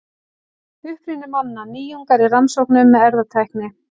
Uppruni manna: Nýjungar í rannsóknum með erfðatækni.